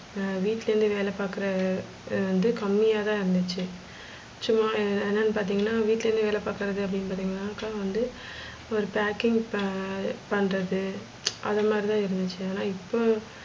ஆஹ் வீட்டுலேந்து வேலைபாக்குற வந்து கம்மியாதா இருந்துச்சு சும்மா என்னான்னு பத்திங்கான வீட்டுலேந்து வேல பாக்குறதுனா அப்டி பாத்திங்கனாக்க வந்து, ஒரு packing பன்றது அத மாதிரி இருந்துச்சி. ஆனா இப்ப,